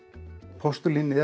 postulín er